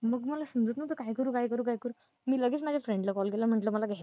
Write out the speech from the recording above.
मग मला समजत नव्हतं काय करू काय करू काय करू मी लगेच माझ्या friend ला call केला म्हंटलं मला